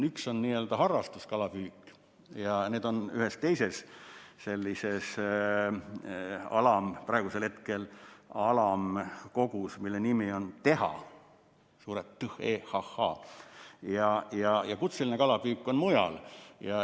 Üks on harrastuskalapüük, need on praegu ühes teises, sellises alamkogus, mille nimi on TEHA, ja kutseline kalapüük on mujal.